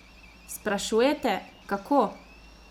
Sprašujete, kako?